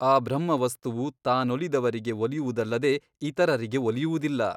ಆ ಬ್ರಹ್ಮವಸ್ತುವು ತಾನೊಲಿದವರಿಗೆ ಒಲಿಯುವುದಲ್ಲದೆ ಇತರರಿಗೆ ಒಲಿಯುವುದಿಲ್ಲ.